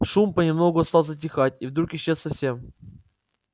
шум понемногу стал затихать и вдруг исчез совсем